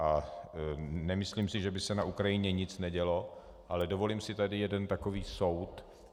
A nemyslím si, že by se na Ukrajině nic nedělo, ale dovolím si tady jeden takový soud.